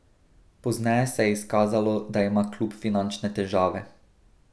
Pozneje se je izkazalo, da ima klub finančne težave.